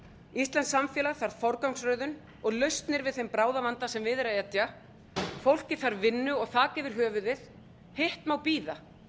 íslenskt samfélag þarf forgangsröðun og lausnir við þeim bráðavanda sem við er að etja fólkið þarf vinnu og þak yfir höfuðið hitt má bíða